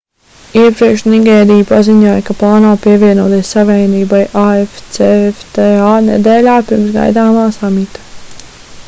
iepriekš nigērija paziņoja ka plāno pievienoties savienībai afcfta nedēļā pirms gaidāmā samita